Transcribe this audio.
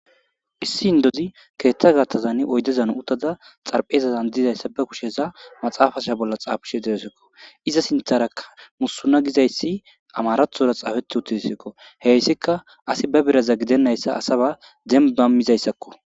issi indozi keeththa gattazan oydezan uttada xarphezazan dizayssa ba kusheza maxaafasha bolla xaafishe deyesekko iza sintharakka musuna gizayssi amarathora xaafeti uttisikko heyssika asi ba biraza gidennayssa asaba dembamizayssakko